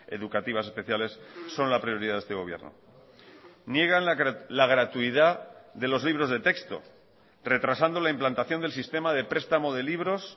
educativas especiales son la prioridad de este gobierno niegan la gratuidad de los libros de texto retrasando la implantación del sistema de prestamo de libros